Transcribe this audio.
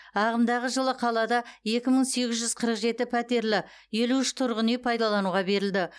ағымдағы жылы қалада екі мың сегіз жүз қырық жеті пәтерлі елу үш тұрғын үй пайдалануға берілді